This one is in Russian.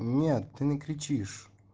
нет ты не кричишь